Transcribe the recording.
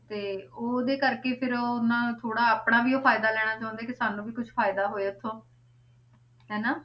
ਤੇ ਉਹਦੇ ਕਰਕੇ ਫਿਰ ਉਹ ਨਾ ਥੋੜ੍ਹਾ ਆਪਣਾ ਵੀ ਉਹ ਫ਼ਾਇਦਾ ਲੈਣਾ ਚਾਹੁੰਦੇ ਕਿ ਸਾਨੂੰ ਵੀ ਕੁਛ ਫ਼ਾਇਦਾ ਹੋਏ ਉੱਥੋਂ ਹਨਾ